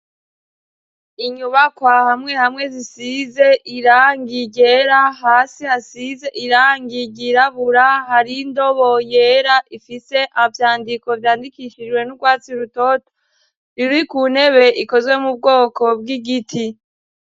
Inyubakwa hamwe hamwe zisize irangi ryera hasi hasize irangi ryirabura hari indobo yera ifise ivyandiko vyandikishijwe n'urwatsi rutoto ruri ku ntebe ikozwe mu bwoko bw'igiti.